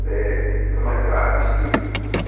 нормально отпусти